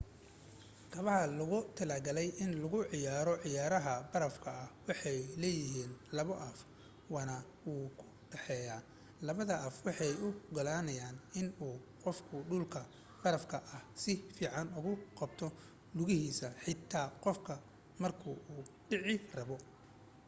kabaha loogu talagalay in lagu ciyaaro ciyaaraha barafka waxay leeyahiin laba af waxna wuu u dhaxeeya. labada af waxay u ogolaanayaan in uu qofku dhulka barafka ah si fican ugu qabto lugahiisa, xitaa qof ka marka uu dhici rabo